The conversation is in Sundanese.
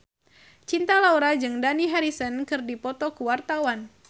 Cinta Laura jeung Dani Harrison keur dipoto ku wartawan